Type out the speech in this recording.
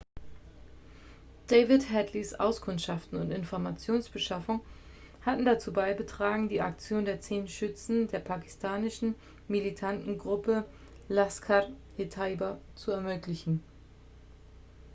david headleys auskundschaften und informationsbeschaffung hatten dazu beigetragen die aktion der 10 schützen der pakistanischen militanten gruppe laskhar-e-taiba zu ermöglichen